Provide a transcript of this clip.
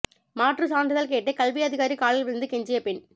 மாற்று சான்றிதழ் கேட்டு கல்வி அதிகாரி காலில் விழுந்து கெஞ்சிய பெண்